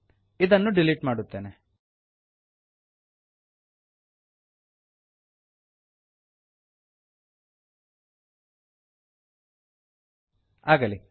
ಇದನ್ನು ಡಿಲೀಟ್ ಮಾಡುತ್ತೇನೆ ಆಗಲಿ